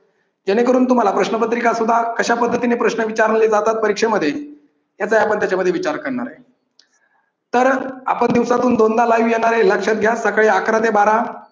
जेणेकरून तुम्हाला प्रश्नपत्रिका सुद्धा कशा पद्धतीने प्रश्न विचारले जातात परीक्षेमध्ये याचाही आपण त्याच्यामध्ये विचार करणार आहे. तर आपण दिवसातून दोनदा live येणार आहे. हे लक्षात घ्या. सकाळी अकरा ते बारा